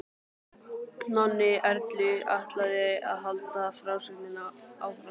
Nonni Erlu ætlaði að halda frásögninni áfram.